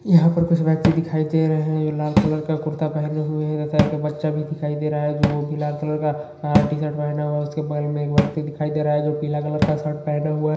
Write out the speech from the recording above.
यहाँ पर कुछ व्यक्ति दिखाई दे रहे हैं यह लाल कलर का कुर्ता पहने हुए हैं। का बच्चा भी दिखाई दे रहा हैं वो भी लाल कलर का टीशर्ट पहना हुआ हैं उसके बगल में एक व्यक्ति दिखाई दे रहा हैं जो पीले कलर का शर्ट पहना हुआ|